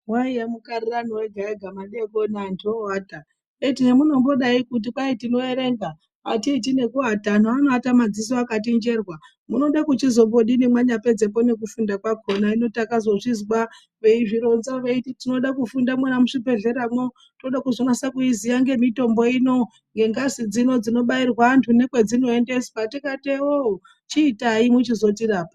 Waiya mukarirano wega wega madeikoniantu ooata, eti hemunombodai kuti kwai tinoerenga atiiti nekuata anhu anoata madziso akati njerwa, munode kuchizombodini mwanyapedze nekufunda kwakona hino takazvozvizwa veizvironza veiti tinode kufunda muzvibhehleramwo tode kuzonyatso iziya ngemitombo ino, ngengazi dzino dzinobairwa antu nekwedzinozoendeswa tikati ewoo, chiitai mwechizotirapa.